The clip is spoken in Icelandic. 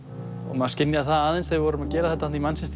maður skynjaði það aðeins þegar við vorum að gera þetta þarna í